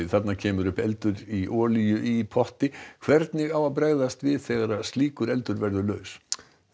þarna kemur upp eldur í olíu í potti hvernig á að bregðast við þegar slíkur eldur verður laus